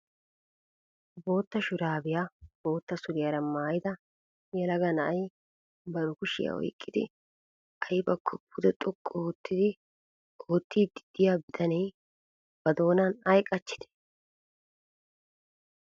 Boota shurabiya boota suriyaara maayida yelaga na'ay bari kushiya oyqqidi aybbakko pude xoqqu oottidi oottiidi de'iyaa bitanee na dooma ay qachchide?